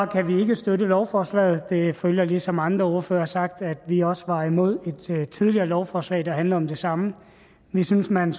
kan vi ikke støtte lovforslaget det følger ligesom andre ordførere har sagt at vi også var imod et tidligere lovforslag der handlede om det samme vi synes man